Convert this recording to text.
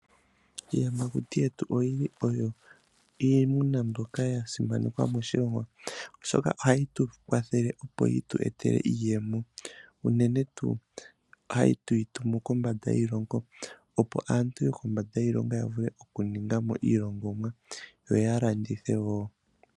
Iiyamakuti yetu oyili oyo iimuna mbyoka yasimanekwa moshilongo oshoka ohayi tukwathele opo yitu etele iiyemo unene tu hatwitumu kombanda yiilongo opo aantu yokondje yiilongo yavule okuningamo iilongomwa yo yalandithe wo.